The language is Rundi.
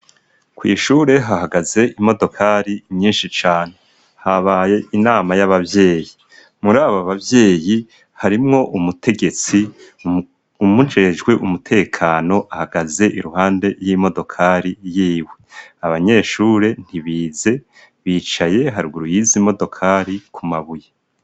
Kw'ishure hahagaze imodokari nyinshi cane. Habaye inama y'abavyeyi. Muri abo bavyeyi, harimwo umutegetsi uwumujejwe umutekano ahagaze iruhande y'imodokari y'iwe. Abanyeshure ntibize, bicaye haruguru y'izo modokari ku mabuye.